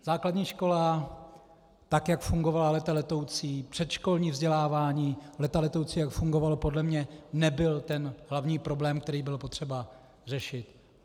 Základní škola, tak jak fungovala léta letoucí, předškolní vzdělávání léta letoucí jak fungovalo podle mě, nebyl ten hlavní problém, který bylo potřeba řešit.